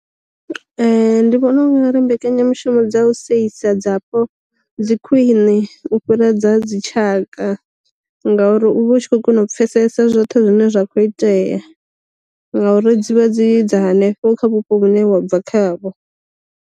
Ndi vhona u nga ri mbekanyamushumo dza u seisa dzapo dzi khwiṋe u fhira dza dzitshaka, ngauri u vha u tshi kho kona u pfesesa zwoṱhe zwine zwa khou itea ngauri dzivha dzi dza hanefho kha vhupo vhune wa bva kha vho.